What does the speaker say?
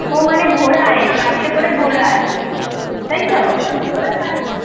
ও মানে ঘোরায় গাড়িতে করে ঘোরায় তাই তো?